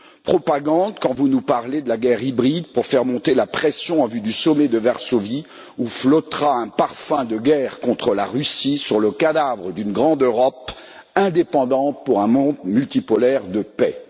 Propagande, quand vous nous parlez de la guerre hybride pour faire monter la pression en vue du sommet de Varsovie, où flottera un parfum de guerre contre la Russie sur le cadavre d'une grande Europe indépendante pour un monde multipolaire de paix.